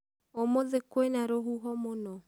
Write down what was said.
ũmũthĩkwĩ na rũhuho mũno?